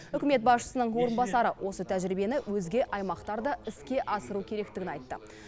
үкімет басшысының орынбасары осы тәжірибені өзге аймақтарда іске асыру керектігін айтты